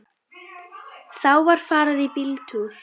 Þá var farið í bíltúr.